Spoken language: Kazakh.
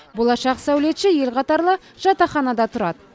болашақ сәулетші ел қатарлы жатақханада тұрады